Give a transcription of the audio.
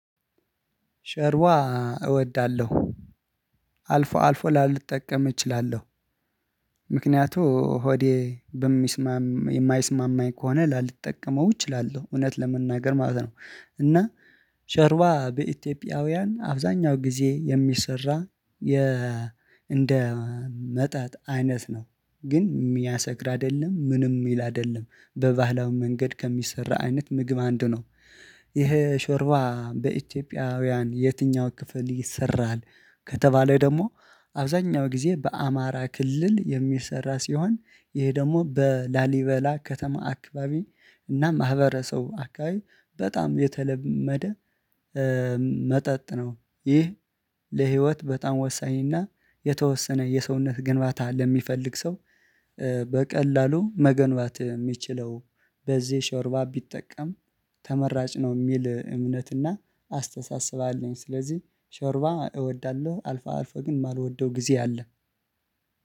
ጮርባ እወዳለሁ። አልፎ አልፎ ላልጠቀም እችላለሁ። ምክንያቱም ሆዴ በሚስማ የማይስማማኝ ከሆነ ላልጠቀመው እችላለሁ እውነት ለመናገር ማለት ነው። እና ሾርባ በኢትዮጵያውያን አብዛኛው ጊዜ የሚሰራ የ እንደ መጣጥ አይነት ነው ግን የሚያሰክር አይደለም ምንም ሚል አይደለም በባህላው መንገድ ከሚሰራ አይነት ምግብ አንዱ ነው። ይሄ ሾርባ በኢትዮጵያውያን የትኛው ክፍል ይሰራል ከተባለ ደግሞ አብዛኛው ጊዜ በአማራ ክልል የሚሰራ ሲሆን ይሄ ደግሞ በላሊበላ ከተማ አክባቢ እና ማህበረሰብ አካባቢ በጣም የተለመደ መጠጥ ነው። ይህ ለህይወት በጣም ወሳኝና የተወሰነ የሰውነት ግንባታ ለሚፈልግ ሰው በቀላሉ መገንባት የሚችለው በዚህ ሾርባ ቢጠቀም ተመራጭ ነው የሚል እምነትና አስተሳስባለሁ። ስለዚህ ሾርባ እወዳለሁ አልፎ አልፎ ግን የማልወደው ጊዜ አለ